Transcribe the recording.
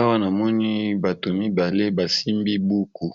Awa namoni batu mibale basimbi buku